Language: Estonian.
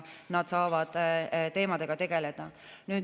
Nemad saavad teemadega tegeleda.